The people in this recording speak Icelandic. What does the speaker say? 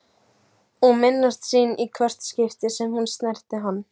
Og minnast sín í hvert skipti sem hún snerti hann.